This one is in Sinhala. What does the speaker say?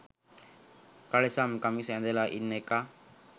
කලිසම් කමිස ඇඳලා ඉන්න එකා